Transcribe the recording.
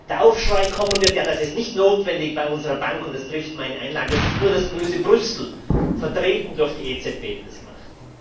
der Aufschrei kommen wird Das ist nicht notwendig bei unserer Bank, und es trifft meine Einlage. Es ist nur das böse Brüssel, vertreten durch die EZB, die das macht!